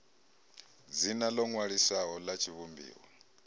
dzina ḽo ṅwaliswaho ḽa tshivhumbiwa